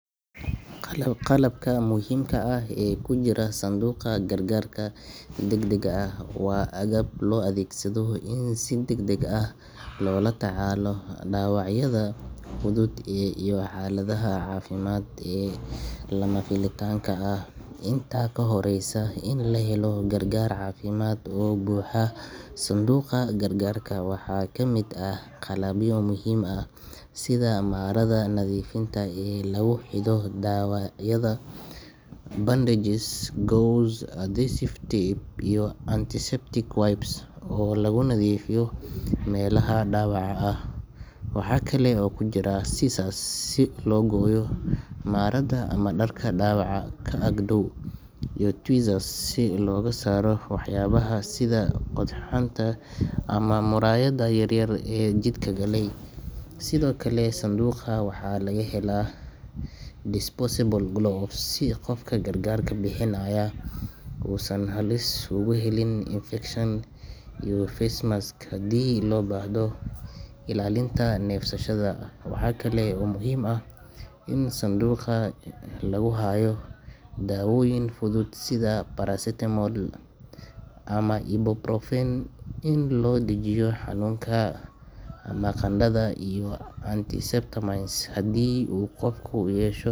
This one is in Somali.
Qalabka muhiimka ah ee ku jira sanduuqa gargarka degdegga ah waa agab loo adeegsado in si degdeg ah loola tacaalo dhaawacyada fudud iyo xaaladaha caafimaad ee lama filaanka ah inta ka horreysa in la helo gargaar caafimaad oo buuxa. Sanduuqa gargarka waxaa ka mid ah qalabyo muhiim ah sida marada nadiifta ah ee lagu xidho dhaawacyada, bandages, gauze, adhesive tape, iyo antiseptic wipes oo lagu nadiifiyo meelaha dhaawaca ah. Waxa kale oo ku jira scissors si loo gooyo marada ama dharka dhaawaca ka ag dhow, iyo tweezers si loogu saaro waxyaabaha sida qodxanta ama muraayadda yar yar ee jidhka galay. Sidoo kale, sanduuqa waxaa laga helaa disposable gloves si qofka gargaarka bixinaya uusan halis ugu gelin infekshan, iyo face mask haddii loo baahdo ilaalinta neefsashada. Waxaa kale oo muhiim ah in sanduuqa lagu hayo dawooyin fudud sida paracetamol ama ibuprofen si loo dejiyo xanuunka ama qandhada, iyo antihistamines haddii uu qofku yeesho.